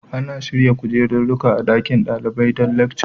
Ana shirya kujeruruƙa a ɗaƙin daliɓai don lekca